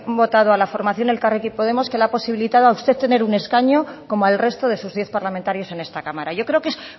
votado a la formación elkarrekin podemos que le ha posibilitado a usted tener un escaño como al resto de sus diez parlamentarios en esta cámara yo creo que es